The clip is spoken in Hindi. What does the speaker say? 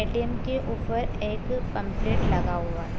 ए.टी.एम. के ऊपर एक पम्पलेट लगा हुआ है।